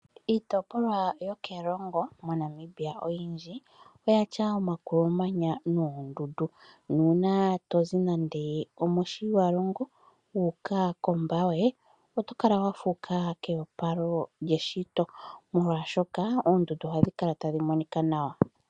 Iitipolwa yokErongo moNamibia oyindji oya tya omakulumanya noondundu, nuuna to zi nande omoshiwalongo wuuka koMbaye oto kala wa fuuka keyopalo lyeshito molwaashoka oondundu ohadhi kala tadhi monika nawa.